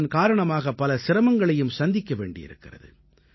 இதன் காரணமாக பல சிரமங்களையும் சந்திக்க வேண்டியிருக்கிறது